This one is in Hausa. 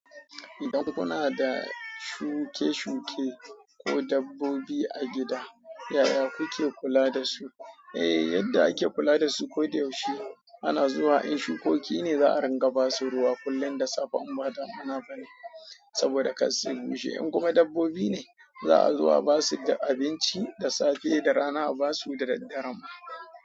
Idan kuna da shuke-shuke ko dabbobi a gida yaya kuke kula da su? Eh, yadda ake kula da su koyaushe ana zuwa in shukoki ne za a ringa ba su ruwa kullum da safe, in ba damuna bane saboda kar su yi bushe. In kuma dabbobi ne za a zo a ba su da abinci da safe da rana a ba su da daddare ma.